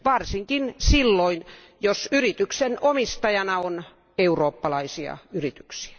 Varsinkin silloin, jos yrityksen omistajana on eurooppalaisia yrityksiä.